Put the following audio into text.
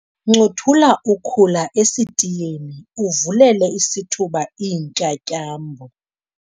ncothula ukhula esitiyeni uvulele isithuba iintyatyambo